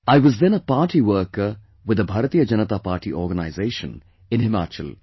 I was then a party worker with the Bharatiya Janata Party organization in Himachal